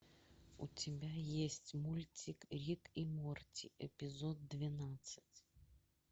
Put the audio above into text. у тебя есть мультик рик и морти эпизод двенадцать